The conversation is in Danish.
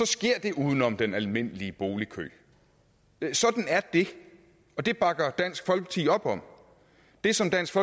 sker det uden om den almindelige boligkø sådan er det det bakker dansk folkeparti op om det som dansk